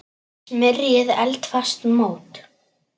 Smyrjið eldfast mót.